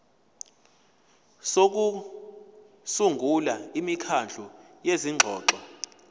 sokusungula imikhandlu yezingxoxo